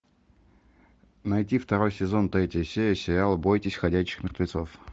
найти второй сезон третья серия сериала бойтесь ходячих мертвецов